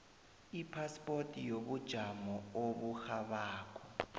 ipaspoti yobujamo oburhabako